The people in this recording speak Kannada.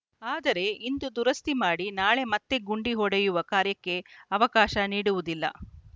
ಆದರೆ ಇಂದು ದುರಸ್ತಿ ಮಾಡಿ ನಾಳೆ ಮತ್ತೆ ಗುಂಡಿ ಹೊಡೆಯುವ ಕಾರ್ಯಕ್ಕೆ ಅವಕಾಶ ನೀಡುವುದಿಲ್ಲ